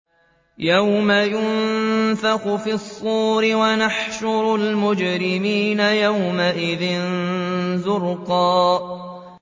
يَوْمَ يُنفَخُ فِي الصُّورِ ۚ وَنَحْشُرُ الْمُجْرِمِينَ يَوْمَئِذٍ زُرْقًا